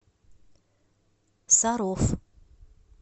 саров